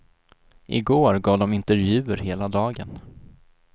I går gav de intervjuer hela dagen.